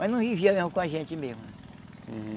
Mas não vivia mesmo com a gente mesmo.